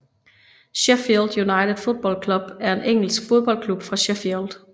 Sheffield United Football Club er en engelsk fodboldklub fra Sheffield